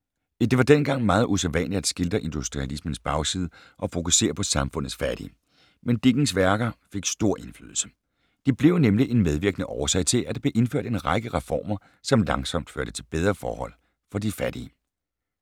Det var dengang meget usædvanligt at skildre industrialismens bagside og fokusere på samfundets fattige, men Dickens værker fik stor indflydelse. De blev nemlig en medvirkende årsag til, at der blev indført en række reformer, som langsomt førte til bedre forhold for de fattige.